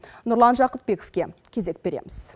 нұрлан жақыпбековке кезек береміз